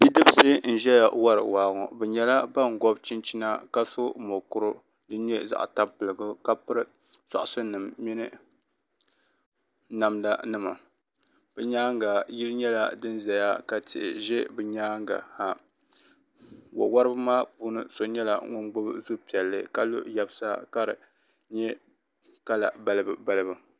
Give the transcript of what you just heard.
Bidibisi n-ʒiya wari waa ŋɔ bɛ nyɛla ban gɔbi chinchina ka so mukurigu din nyɛ zaɣ' tampilim ka piri sɔɣishinnima mini namdanima bɛ nyaaŋa yili nyɛla din zaya ka tihi ʒe bɛ nyaaŋa ha wawariba puuni so nyɛla ŋun gbubi zu' piɛlli ka lo yabisa ka di nyɛ kala balibubalibu